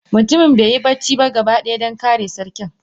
Mutumin beyi bacci ba gaba daya Dan kare sarkin.